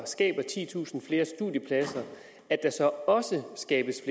skaber titusind flere studiepladser at der så også skabes